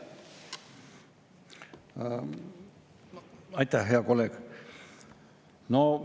Aitäh, hea kolleeg!